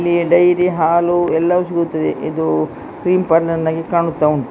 ಇಲ್ಲಿ ಡೇರಿ ಹಾಲು ಎಲ್ಲವೂ ಸಿಗುತ್ತದೆ ಇದು ಕ್ರೀಮ್ ಪರ್ಲೌರ್ ಆಗಿ ಕಾಣತ್ತಾ ಉಂಟು.